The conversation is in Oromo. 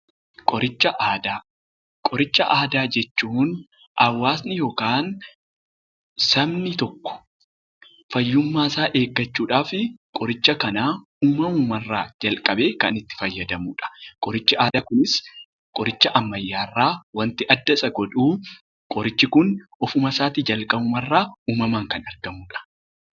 Qoricha Aadaa Qoricha Aadaa jechuun hawaasni yookaqn sabni tokko fayyummaa isaa eeggachuu dhaaf qoricha kana uumamuma irraa jalqabee kan itti fayyadamu dha. Qorichi aadaa kunis qoricha ammayyaw irraa wanti adda isa godhuu qorichi kun ofumasaa tii jalqabuma irraa uumamaan kan argamu dha.